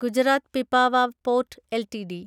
Gujarat Pipavav port LTD